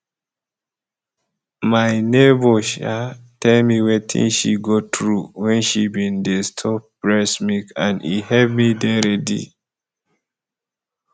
my neighbour um tell me wetin she go through when she bin dey store breast milk and e hep me dey ready